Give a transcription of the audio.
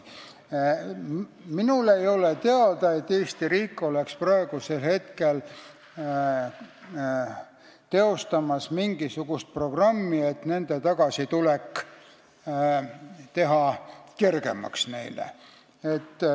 Minule ei ole teada, et Eesti riik teostaks praegu mingisugust programmi, et neile tagasitulekut kergemaks teha.